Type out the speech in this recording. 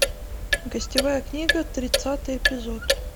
гостевая книга тридцатый эпизод